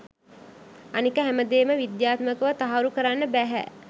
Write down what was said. අනික හැමදේම විද්‍යාත්මකව තහවුරු කරන්න බැහැ.